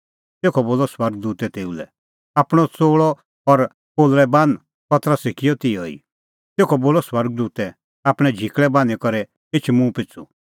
तेखअ बोलअ स्वर्ग दूतै तेऊ लै आपणअ च़ोल़अ और पोलल़ै बान्ह पतरसै किअ तिहअ ई तेखअ बोलअ स्वर्ग दूतै आपणैं झिकल़ै बान्हीं करै एछ मुंह पिछ़ू